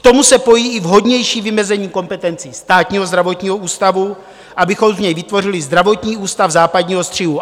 K tomu se pojí i vhodnější vymezení kompetencí Státního zdravotního ústavu, abychom z něj vytvořili zdravotní ústav západního střihu.